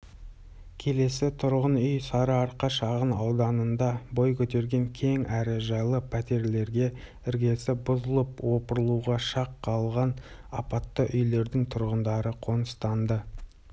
келесі тұрғын үй сарыарқа шағын ауданында бой көтерген кең әрі жайлы пәтерлерге іргесі бұзылып опырылуға шақ қалған апатты үйлердің тұрғындары қоныстанды